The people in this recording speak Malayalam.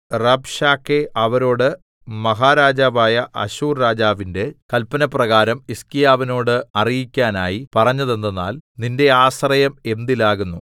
റബ്ശാക്കേ അവരോട് മഹാരാജാവായ അശ്ശൂർരാജാവിന്റെ കൽപ്പനപ്രകാരം ഹിസ്കീയാവിനോട് അറിയിക്കാനായി പറഞ്ഞതെന്തെന്നാൽ നിന്റെ ആശ്രയം എന്തിലാകുന്നു